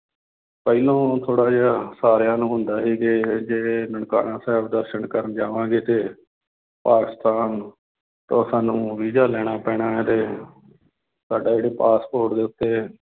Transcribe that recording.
ਪਹਿਲਾਂ ਥੋੜ੍ਹਾ ਜਿਹਾ ਸਾਰਿਆਂ ਨੂੰ ਹੁੰਦਾ ਸੀ ਕਿ ਇਹ ਜੇ ਨਨਕਾਣਾ ਸਾਹਿਬ ਦਰਸਨ ਕਰਨ ਜਾਵਾਂਗੇ ਤੇ ਪਾਕਿਸਤਾਨ ਤਾਂ ਸਾਨੂੰ ਵੀਜ਼ਾ ਲੈਣਾ ਪੈਣਾ ਹੈ ਤੇ ਸਾਡਾ ਜਿਹੜਾ ਪਾਸਪੋਰਟ ਦੇ ਉੱਤੇ